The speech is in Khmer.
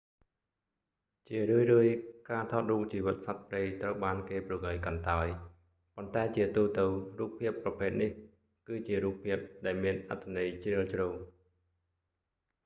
ជារឿយៗ ការថតរូបជីវិតសត្វព្រៃត្រូវបានគេព្រងើយកន្តើយ ប៉ុន្តែជាទូទៅរូបភាពប្រភេទនេះ គឺជារូបភាពដែលមានអត្ថន័យជ្រាលជ្រៅ